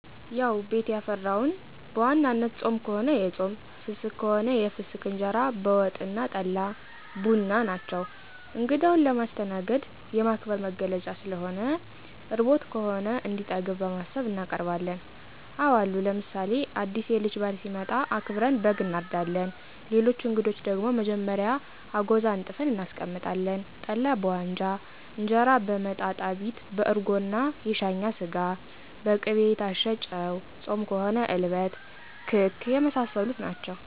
ያዉ ቤት ያፈራዉን፦ በዋናነት ጾም ከሆነ የጾም ፍስክ ከሆነ የፍሰክ እንጀራ በወጥ አና ጠላ፣ ቡና ናቸዉ። እንግዳዉን ለማስተናገድ፣ የማክበር መገለጫ ስለሆነ፣ ርቦት ከሆነ እንዲጠግብ በማሰብ እናቀርባለን። አወ አሉ ለምሳሌ አዲስ የልጅ ባል ሲመጣ አክብረን በግ አናርዳለን፣ ለሌሎች አንግዶች ደግሞ መጀመሪያ አጎዛ አንጥፈን እናስቀምጣለን፣ ጠላ በዋንጫ እንጀራ በመጣጣቢት በአርጎና የሻኛ ስጋ፣ በቂቤ የታሸ ጨዉ፣ ጾም ከሆነ እልበት፣ ክክ የመሳሰሉት ናቸዉ።